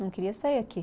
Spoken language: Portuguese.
Não queria sair aqui.